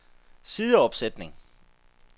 sideopsætning